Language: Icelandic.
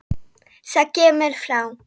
Það kemur frá